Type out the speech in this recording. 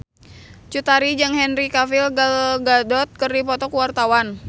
Cut Tari jeung Henry Cavill Gal Gadot keur dipoto ku wartawan